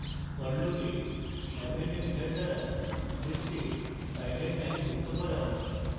for loop a append method দ্বারা list a file lines যুক্ত করা